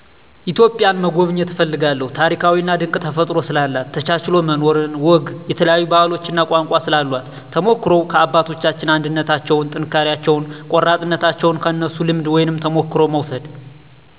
ኢትዮጵያን መጎብኘት እፈልጋለሁ ታሪካዊና ድንቅ ተፈጥሮ ስላላት፣ ተቻችሎ መኖርን፣ ወግ፣ የተለያዮ ባህሎች እና ቋንቋ ስላሏት ተሞክሮዉ ከአባቶቻችን አንድነታቸዉን፣ ጥንካሬያቸውን፣ ቆራጥነታቸዉን ከነሱ ልምድ ወይም ተሞክሮ መዉሰድ